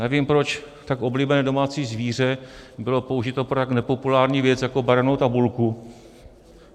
Nevím proč tak oblíbené domácí zvíře bylo použito pro tak nepopulární věc jako barevnou tabulku.